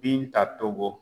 Binta Togo